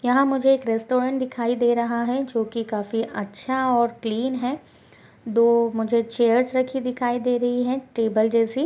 यहा मुझे एक रेस्टोरेंट दिखाई दे रहा है जो की अच्छा और क्लीन है दो मुझे चेयर रखी दिखाई दे रही है टेबल जैसी --